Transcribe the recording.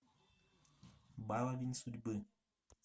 баловень судьбы